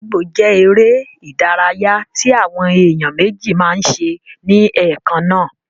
Gídígbò jẹ́ eré ìdárayá tí àwọn èèyàn méjì máa n ṣe ní ẹ̀kannáà